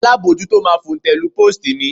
Alábojútó máa fòǹtẹ̀ lu póòstì mi